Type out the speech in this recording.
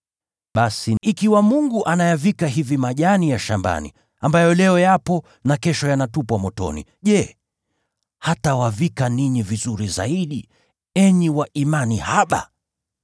Basi ikiwa Mungu huyavika hivi majani ya shambani, ambayo leo yapo na kesho yanatupwa motoni, je, hatawavika ninyi vizuri zaidi, enyi wa imani haba?